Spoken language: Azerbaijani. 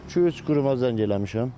İki-üç quruma zəng eləmişəm.